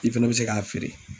I fana bɛ se k'a feere.